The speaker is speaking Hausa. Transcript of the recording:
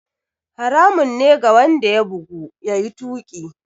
Haramun ne ga wanda ya bugu, ya yi tuƙi.